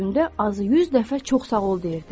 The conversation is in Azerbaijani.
Gündə azı 100 dəfə çox sağ ol deyirdi.